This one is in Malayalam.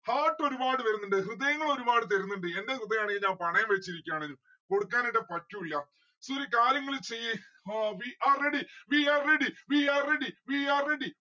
heart ഒരുപാട് വരുന്നിണ്ട്‌ ഹൃദയങ്ങൾ ഒരുപാട് തരുന്നിണ്ട്‌ എന്റെ ഹൃദയാണെങ്കിൽ ഞാൻ പണയം വച്ചിരിക്കാണ്. കൊടുക്കാനായിട്ട് പറ്റു ഇല്ല. ഒരു കാര്യം ഇങ്ങള് ചെയ്യ് ആ we are ready we are ready we are ready we are ready